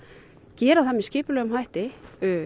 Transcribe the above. gera það með skipulegum hætti